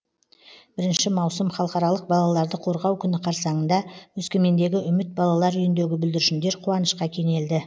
бірінші маусым халықаралық балаларды қорғау күні қарсаңында өскемендегі үміт балалар үйіндегі бүлдіршіндер қуанышқа кенелді